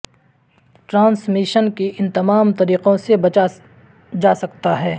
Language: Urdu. ٹرانسمیشن کی ان تمام طریقوں سے بچا جا سکتا ہے